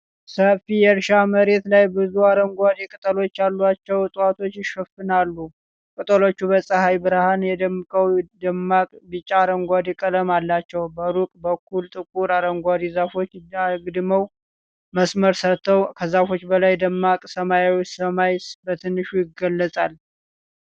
ሰፊ የእርሻ መሬት ላይ ብዙ አረንጓዴ ቅጠሎች ያሏቸው እፅዋት ይሸፍናሉ። ቅጠሎቹ በፀሐይ ብርሃን ደምቀው ደማቅ ቢጫ-አረንጓዴ ቀለም አላቸው። በሩቅ በኩል ጥቁር አረንጓዴ ዛፎች አግድም መስመር ሰርተዋል። ከዛፎቹ በላይ ደማቅ ሰማያዊ ሰማይ በትንሹ ይገለጻል።